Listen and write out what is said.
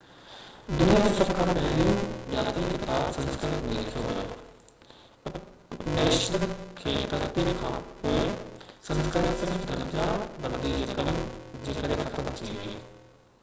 دنيا جو سڀ کان پهريون ڄاتل ڪتاب سنسڪرت ۾ لکيو ويو اپنيشد جي ترتيب کانپوءِ سنسڪرت صرف درجا بندي جي ڪري ختم ٿي وئي